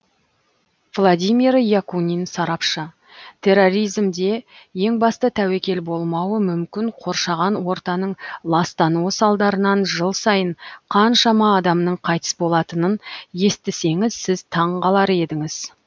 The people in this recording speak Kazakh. владимир якунин сарапшы терроризмде ең басты тәуекел болмауы мүмкін қоршаған ортаның ластануы салдарынан жыл сайын қаншама адамның қайтыс болатынын естісеңіз сіз таңғалар едіңіз